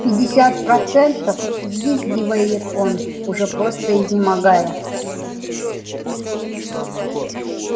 пятьдесят процентов взвизгивает он уже просто изнемогая